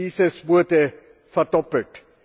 dieses wurde verdoppelt.